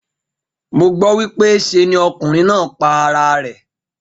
Mo gbó wípé se ni okùnrin náà pa ara rè.